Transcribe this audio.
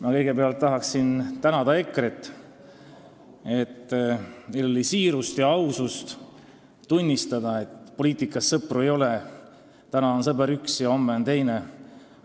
Ma kõigepealt tahan tänada EKRE-t selle eest, et neil oli siirust ja ausust tunnistada, et poliitikas sõpru ei ole, täna on ühed sõbrad ja homme on teised.